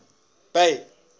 bay